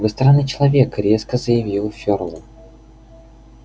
вы странный человек резко заявил фёрл